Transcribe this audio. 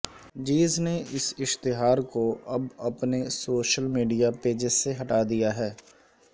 جیز نے اس اشتہار کو اب اپنے سوشل میڈیا پیجیز سے ہٹا دیا ہے